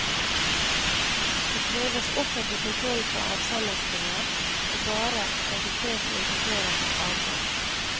Det kreves offentlig kontroll på avsenderstedet, og bare registrerte importører har adgang.